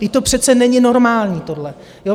Vždyť to přece není normální tohle.